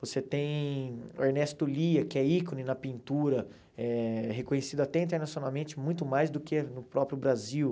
Você tem o Ernesto Lia, que é ícone na pintura, eh reconhecido até internacionalmente muito mais do que no próprio Brasil.